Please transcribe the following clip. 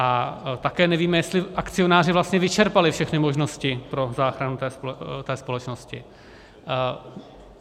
A také nevíme, jestli akcionáři vlastně vyčerpali všechny možnosti pro záchranu té společnosti.